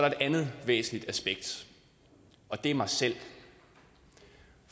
et andet væsentligt aspekt og det er mig selv